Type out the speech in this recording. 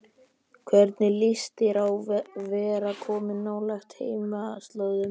Hvernig líst þér á að vera komin nálægt heimaslóðum?